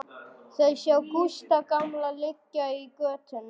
Þau sjá Gústa gamla liggja í götunni.